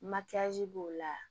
Makiyaji b'o la